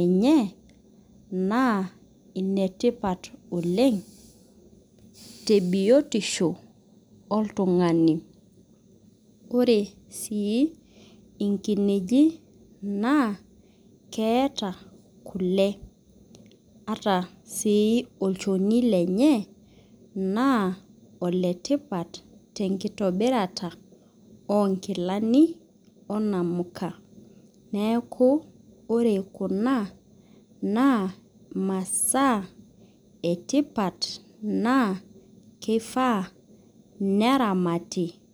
enye na enetipat oleng tebiotisho oltungani ore si nkinejik naa keeta kule etaa si olchoni lenye na oletipat tenkitobirara onkilani onamuka neaku ore kuna na masaa etipat na kifaa neramati .